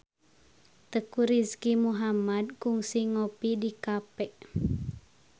Teuku Rizky Muhammad kungsi ngopi di cafe